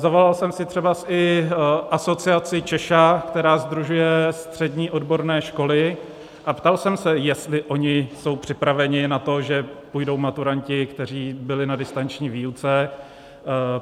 Zavolal jsem si třeba i asociaci CZESHA, která sdružuje střední odborné školy, a ptal jsem se, jestli oni jsou připraveni na to, že půjdou maturanti, kteří byli na distanční výuce.